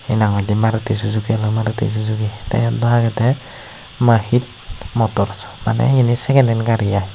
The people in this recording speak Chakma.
he nang hoi day maruti Suzuki maruti suzuki tay eane dow agayday mahit motors manay eani second hand gari aye.